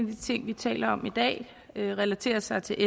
de ting vi taler om i dag relaterer sig til